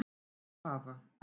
Þau hafa